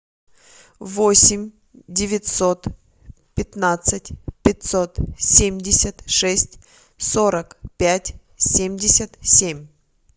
восемь девятьсот пятнадцать пятьсот семьдесят шесть сорок пять семьдесят семь